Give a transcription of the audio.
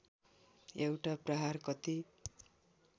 एउटा प्रहार कति